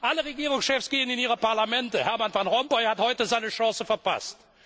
Alle Regierungschefs gehen in ihre Parlamente Hermann Van Rompuy hat heute seine Chance verpasst.